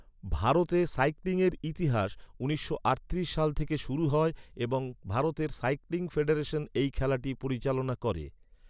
ভারতে সাইক্লিংয়ের ইতিহাস উনিশশো আটত্রিশ সাল থেকে শুরু হয় এবং ভারতের সাইক্লিং ফেডারেশন এই খেলাটি পরিচালনা করে।